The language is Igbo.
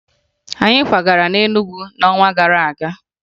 Anyị kwagara na Enugu n'ọnwa gara aga